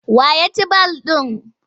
Wa ya ci ball ɗin?